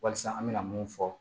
Walasa an bɛna mun fɔ